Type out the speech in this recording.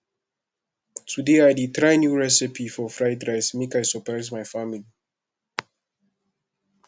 today i dey try new recipe for fried rice make i surprise my family